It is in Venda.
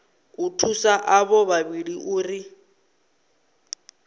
u thusa avho vhavhili uri